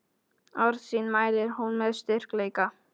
Orð sín mælir hún með styrkleika.